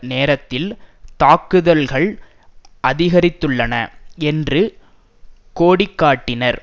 நேரத்தில் தாக்குதல்கள் அதிகரித்துள்ளன என்று கோடிக்காட்டினர்